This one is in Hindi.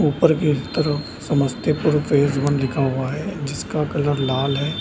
ऊपर की तरफ समस्तीपुर फेज वन लिखा हुआ है जिसका कलर लाल है।